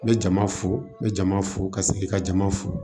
N bɛ jama fo n bɛ jama fo ka segin ka jama fo